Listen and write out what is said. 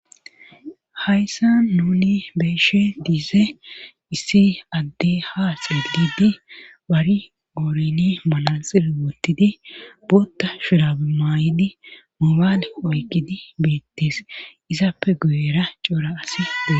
Hayssa nuni beeshe diize issi adde ha xeelidi wari gooreni malaxiri wottidi bootta shirabi maay'idi moobaale oykkidi beettes izappe guyera cora aside.